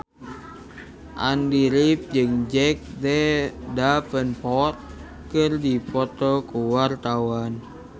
Andy rif jeung Jack Davenport keur dipoto ku wartawan